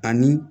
Ani